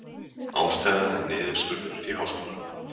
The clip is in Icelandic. Ástæðan er niðurskurður í háskólanum